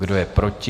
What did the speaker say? Kdo je proti?